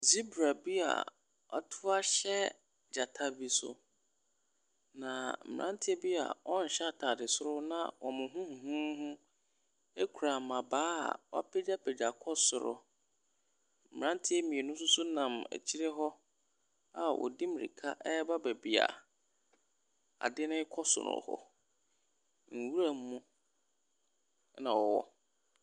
Zebra bi a wato ahyɛ gyata bi so, na mmeranteɛ bi a wɔnhyɛ atade soro na wɔn ho huhuuhu kura mmabaa a wapagyapagya kɔ soro. Mmeranteɛ mmienu nso nam akyire hɔ a wɔdi mmirika reba baabi a adeɛ no rekɔ so no hɔ. Nwura mu na wɔwɔ.